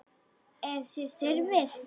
Ef þið þurfið.